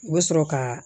U bɛ sɔrɔ ka